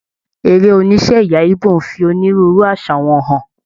Eré oníṣe ẹyà Ìgbò n fi onírúurú àṣà wọn hàn.